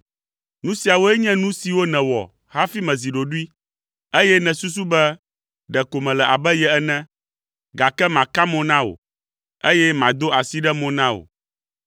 Nu siawoe nye nu siwo nèwɔ hafi mezi ɖoɖoe, eye nèsusu be ɖeko mele abe ye ene, gake maka mo na wò, eye mado asi ɖe mo na wò.